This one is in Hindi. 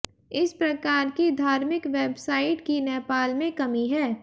इस प्रकार की धार्मिक वेबसाइट्स की नेपाल में कमी है